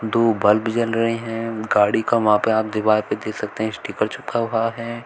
दो बल्ब जल रहे है गाड़ी का वहां पे आप दीवार पे देख सकते हैं स्टीकर चिपका हुआ है।